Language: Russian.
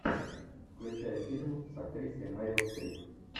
включай фильм с актрисой мерил стрип